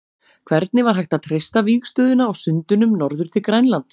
Hvernig var hægt að treysta vígstöðuna á sundunum norður til Grænlands?